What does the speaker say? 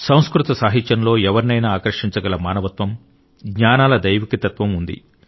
సంస్కృత సాహిత్యంలో ఎవరినైనా ఆకర్షించగల మానవత్వం జ్ఞానాల దైవిక తత్వం ఉంది